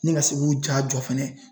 Ni ka se k'u ja jɔ fɛnɛ